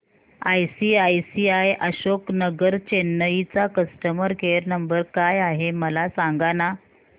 ICICI Ashok Nagar Chennai चा customer care number काय आहे मला सांगाना